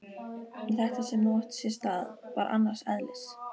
En þetta sem nú átti sér stað var annars eðlis.